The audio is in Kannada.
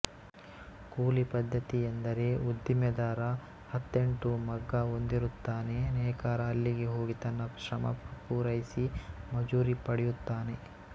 ಕೂಲಿ ಪದ್ಧತಿ ಎಂದರೆ ಉದ್ದಿಮೆದಾರ ಹತ್ತೆಂಟು ಮಗ್ಗ ಹೊಂದಿರುತ್ತಾನೆ ನೇಕಾರ ಅಲ್ಲಿಗೆ ಹೋಗಿ ತನ್ನ ಶ್ರಮ ಪೂರೈಸಿ ಮಜೂರಿ ಪಡೆಯುತ್ತಾನೆ